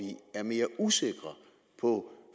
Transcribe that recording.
er mere usikre på